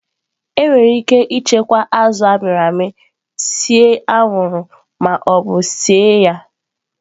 Enwere ike ichekwa azụ a mịrị amị, see anwụrụ ma ọ bụ sie ya